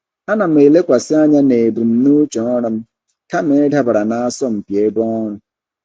Ana m elekwasị anya na ebumnuche ọrụ m kama ịdabara n'asọmpi ebe ọrụ.